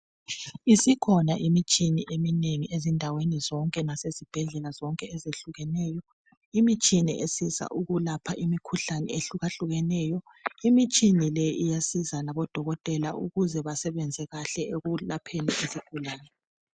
Isikhona imitshina eminengi ezindaweni zonke lasezibhedlela zonke ezehlukeneyo. Imitshina esiza ukulapha imikhuhlane ehlukahlukeneyo. Imitshina le iyasiza labodokotela ukuze basebenze kahle ekulapheni izigulane.